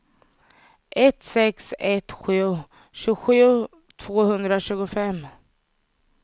ett sex ett sju tjugosju tvåhundratjugofem